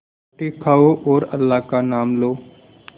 रोटी खाओ और अल्लाह का नाम लो